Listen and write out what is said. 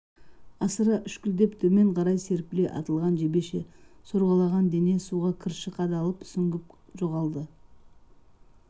асыра үшкілдеп төмен қарай серпіле атылған жебеше сорғалаған дене суға кірші қадалып сүңгіп жоғалды